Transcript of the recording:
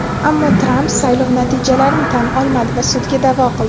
ammo Tramp saylov natijalarini tan olmadi va sudga da’vo qildi.